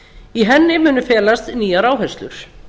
í henni felast nýjar áherslur